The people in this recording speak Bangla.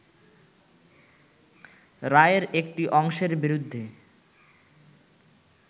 রায়ের একটি অংশের বিরুদ্ধে